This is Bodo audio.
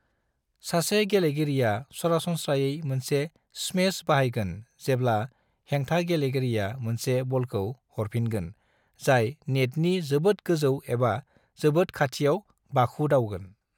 सासे गेलेगिरिया सरासनस्रायै मोनसे स्मेश बाहायगोन जेब्ला हेंथा गेलेगिरिया मोनसे बलखौ हरफिनगोन जाय नेटनि जोबोद गोजौ एबा जोबोद खाथियाव बाखुदावगोन।